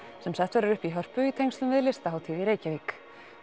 sem sett verður upp í Hörpu í tengslum við Listahátíð í Reykjavík